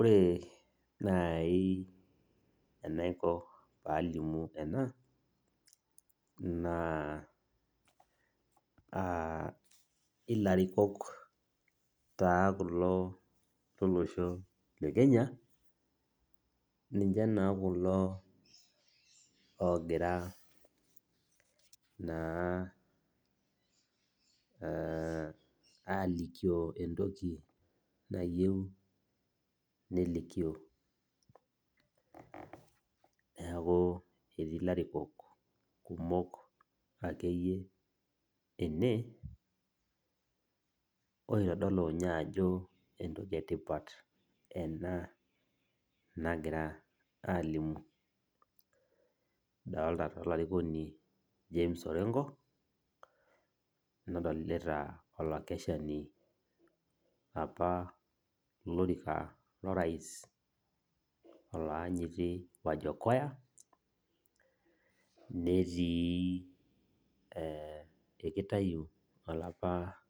Ore nai enaiko palimu ena, naa ilarikok taa kulo lolosho le Kenya, ninche naa kulo ogira naa alikio entoki nayieu nelikio. Neeku etii larikok akeyie ene, oitodolu nye ajo entoki etipat ena nagira alimu. Adolta taa olarikoni James Orenko, nadolita olakeshani apa lolorika lorais olaanyiti Wajakoya, netii ekitayu olapa